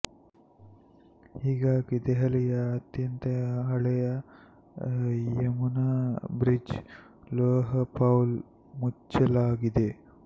ಹೀಗಾಗಿ ದೆಹಲಿಯ ಅತ್ಯಂತ ಹಳೆಯ ಯಮುನಾ ಬ್ರಿಡ್ಜ್ ಲೋಹ್ ಪೌಲ್ ಮುಚ್ಚಲಾಗಿದೆ